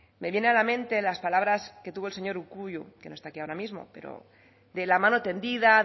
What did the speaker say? me viene a la mente las palabras que tuvo el señor urkullu que no está aquí ahora mismo pero de la mano tendida